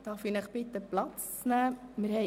Darf ich Sie bitten Platz zu nehmen?